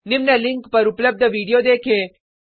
निम्न लिंक पर उपलब्ध वीडियो देखें